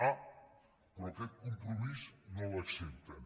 ah però aquest compromís no l’accepten